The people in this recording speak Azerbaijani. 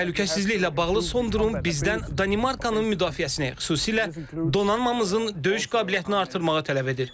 Təhlükəsizliklə bağlı son durum bizdən Danimarkanın müdafiəsini, xüsusilə donanmamızın döyüş qabiliyyətini artırmağı tələb edir.